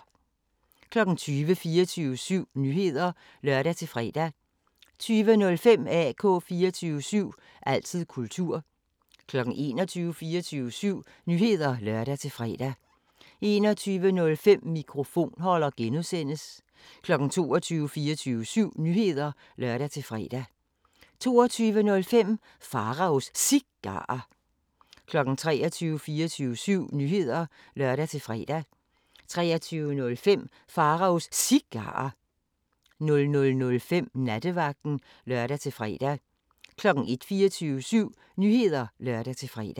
20:00: 24syv Nyheder (lør-fre) 20:05: AK 24syv – altid kultur 21:00: 24syv Nyheder (lør-fre) 21:05: Mikrofonholder (G) 22:00: 24syv Nyheder (lør-fre) 22:05: Pharaos Cigarer 23:00: 24syv Nyheder (lør-fre) 23:05: Pharaos Cigarer 00:05: Nattevagten (lør-fre) 01:00: 24syv Nyheder (lør-fre)